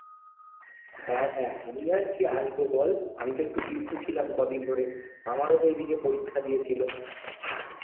হ্যাঁ হ্যাঁ, আমি আর কি আসবো বল, আমি তো একটু busy ছিলাম কদিন ধরে। আমারও তো এইদিকে পরীক্ষা দিয়ে ছিলো।